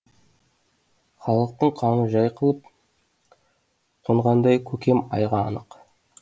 халықтың қамы жай қалып қонғандай көкем айға анық